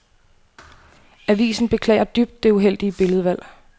Avisen beklager dybt det uheldige billedvalg.